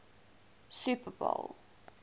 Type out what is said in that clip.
super bowl